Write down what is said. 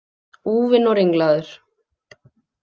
Úfinn og ringlaður.